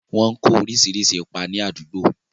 wọ́n ń kó oríṣiríṣi ipa ni àdúgbò.